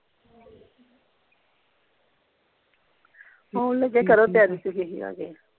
ਆਉਣ ਲੱਗੇ ਆਂ ਕਰੋ ਤਿਆਰੀ ਤਿਊਰੀ ਇਹਨਾਂ ਦੀ